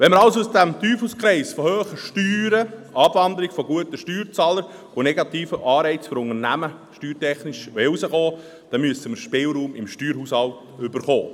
Wenn wir aus diesem Teufelskreis von hohen Steuern, Abwanderung von guten Steuerzahlern und negativen Anreizen für Unternehmen steuertechnisch herauskommen wollen, müssen wir im Steuerhaushalt Spielraum erhalten.